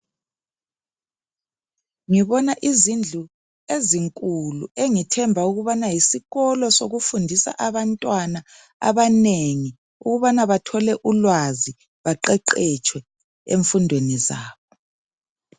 Ngibona izindlu ezinkulu engithemba ukubana yisikolo sokufundisa abantwana abanengi ukubana bathole ulwazi baqeqetshwe emfundweni zabo.